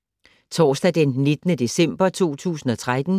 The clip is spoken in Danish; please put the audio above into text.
Torsdag d. 19. december 2013